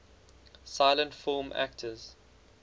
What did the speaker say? silent film actors